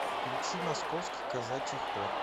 включи московский казачий хор